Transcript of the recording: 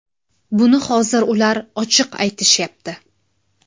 Buni hozir ular ochiq aytishyapti.